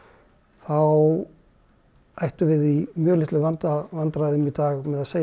þá ættum við í mjög litlum vandræðum vandræðum í dag með að segja